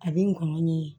A bɛ ngɔnɔn ɲɛ